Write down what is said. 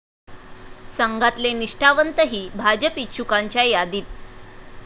संघातले निष्ठावंतही भाजप इच्छुकांच्या यादीत?